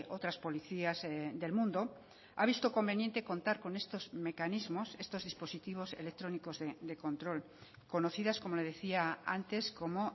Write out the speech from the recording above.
otras policías del mundo ha visto conveniente contar con estos mecanismos estos dispositivos electrónicos de control conocidas como le decía antes como